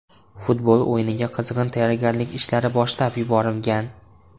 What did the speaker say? Futbol o‘yiniga qizg‘in tayyorgarlik ishlari boshlab yuborilgan.